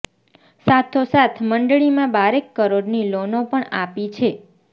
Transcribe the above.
સાથો સાથ મંડળીમાં બારેક કરોડની લોનો પણ આપી છે